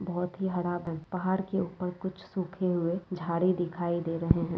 बहुत ही हरा पहाड़ के ऊपर कुछ सूखे हुए झाड़ी दिखाई दे रहे है |